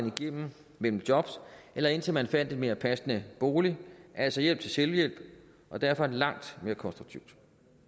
igennem mellem jobs eller indtil man fandt en mere passende bolig altså hjælp til selvhjælp og derfor langt mere konstruktivt